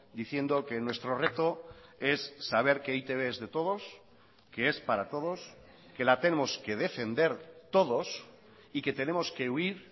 diciendo que nuestro reto es saber que e i te be es de todos que es para todos que la tenemos que defender todos y que tenemos que huir